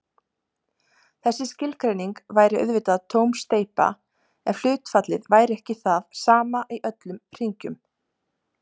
Þessi skilgreining væri auðvitað tóm steypa ef hlutfallið væri ekki það sama í öllum hringjum.